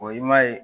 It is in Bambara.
O ye ma ye